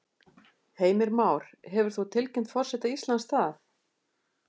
Heimir Már: Hefur þú tilkynnt forseta Íslands það?